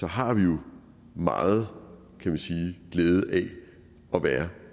har vi jo meget glæde af at være